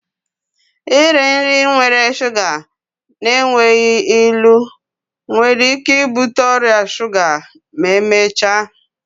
Iri nri nwere shuga na-enweghị ilu nwere ike ibute ọrịa shuga ma emechaa